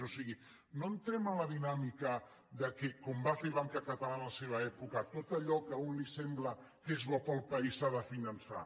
o sigui no entrem en la dinàmica que com va fer banca catalana en la seva època tot allò que a un li sembla que és bo per al país s’ha de finançar